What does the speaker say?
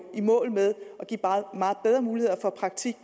i mål med at give meget bedre muligheder for praktik